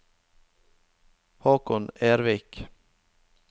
Håkon Ervik